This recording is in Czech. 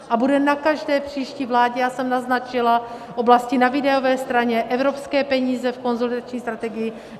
A bude na každé příští vládě, já jsem naznačila oblasti na výdajové straně, evropské peníze v konsolidační strategii.